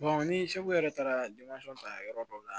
ni segu yɛrɛ taara ta yɔrɔ dɔ la